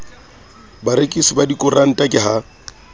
barekisi ba dikoranta ke ha